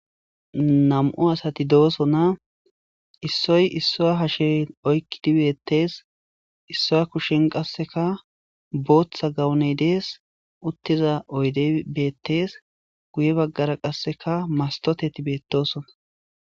Nammu' asathi dossona issoy isswa hashiya oyqidi bethess. Isswa kushen qasseka booththa gawune dees. Uthiza oyde bethess. Guyye bagara qassekkea masthothethi bethossona.